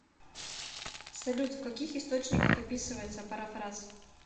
салют в каких источниках описывается парафраз